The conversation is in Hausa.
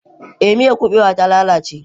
Eh, miyar kubewa ta lalace.